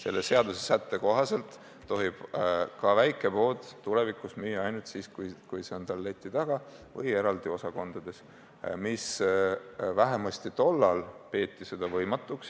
Selle seadusesätte kohaselt tohib ka väikepood tulevikus müüa ainult siis, kui see on tal leti taga või eraldi osakonnas, mida vähemasti tol ajal peeti võimatuks.